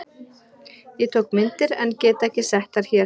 Ég tók myndir en get ekki sett þær hér.